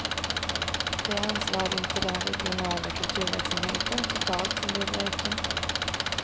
Det är anslagen till den regionala kulturverksamheten totalt som behöver öka.